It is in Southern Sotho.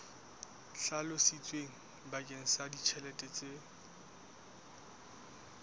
hlalositsweng bakeng sa ditjhelete tse